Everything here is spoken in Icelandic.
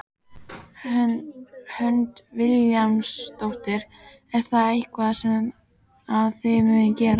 Hödd Vilhjálmsdóttir: Er það eitthvað sem að þið munuð gera?